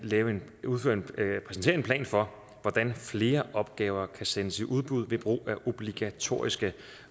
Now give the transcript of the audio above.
plan for hvordan flere opgaver kan sendes i udbud ved brug af obligatoriske